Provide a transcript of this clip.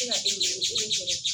E ka den e bɛ gɛrɛ